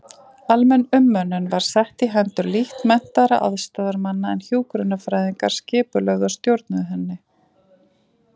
Almenn umönnun var sett í hendur lítt menntaðra aðstoðarmanna en hjúkrunarfræðingar skipulögðu og stjórnuðu henni.